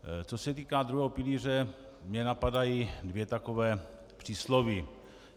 Co se týká druhého pilíře, mě napadají dvě taková přísloví.